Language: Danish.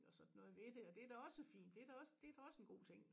Og sådan noget ved det og det da også fint det da også det da også en god ting